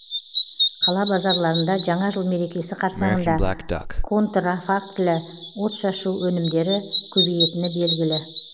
қала базарларында жаңа жыл мерекесі қарсаңында контрафактілі отшашу өнімдері көбейетіні белгілі